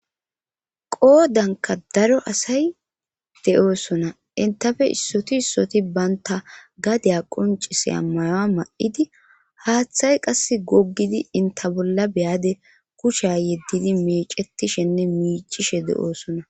Qodanka daro asay de'osona enta issoti issoti Banta gada qonccissiya Maya ma'adi hathay qase gogidi enta bolla beyadi kusha yedidi meccetishene miccishe de'osona